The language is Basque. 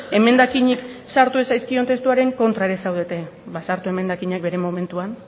emendakinik sartu ez zaizkion testuaren kontra ere zaudete ba sartu emendakinak bere momentuan